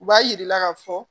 U b'a jira i la k'a fɔ